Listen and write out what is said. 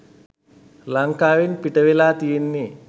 ලංකාවෙන් පිටවෙලා තියෙන්නෙ